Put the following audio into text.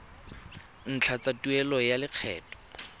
ntlha tsa tuelo ya lekgetho